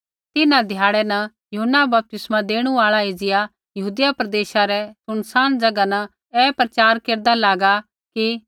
तिन्हां ध्याड़ै न यूहन्ना बपतिस्मा देणु आल़ा एज़िया यहूदिया प्रदेशा रै सुनसान ज़ैगा न ऐ प्रचार केरदा लागा कि